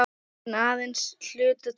En aðeins að hluta til.